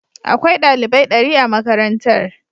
Akwai dalibai dari a makarantar.